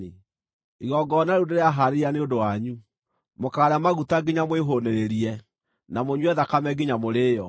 Igongona rĩu ndĩrahaarĩria nĩ ũndũ wanyu, mũkaarĩa maguta nginya mwĩhũũnĩrĩrie, na mũnyue thakame nginya mũrĩĩo.